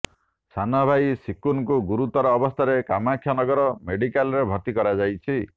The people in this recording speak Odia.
ସାନ ଭାଇ ସିକୁନକୁ ଗୁରୁତର ଅବସ୍ଥାରେ କାମାକ୍ଷାନଗର ମେଡିକାଲରେ ଭର୍ତ୍ତି କରାଯାଇଛି